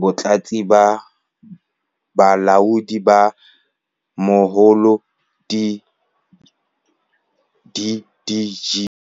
Batlatsi ba Balaodi ba Moholo, di-DDG.